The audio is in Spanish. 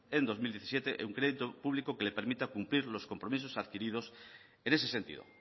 en dos mil diecisiete un crédito público que le permita cumplir los compromisos adquiridos en ese sentido